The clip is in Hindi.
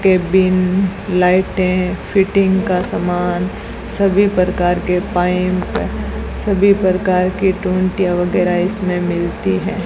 केबिन लाइटें फिटिंग का सामान सभी प्रकार के पाइप सभी प्रकार के टोंटियां वगैरा इसमें मिलती हैं।